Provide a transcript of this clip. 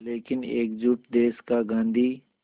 लेकिन एकजुट देश का गांधी